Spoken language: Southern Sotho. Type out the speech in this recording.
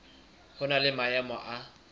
ho na le maemo a